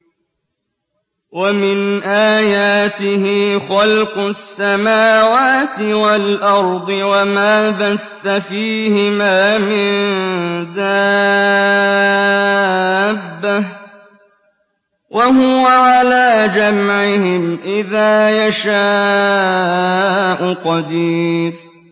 وَمِنْ آيَاتِهِ خَلْقُ السَّمَاوَاتِ وَالْأَرْضِ وَمَا بَثَّ فِيهِمَا مِن دَابَّةٍ ۚ وَهُوَ عَلَىٰ جَمْعِهِمْ إِذَا يَشَاءُ قَدِيرٌ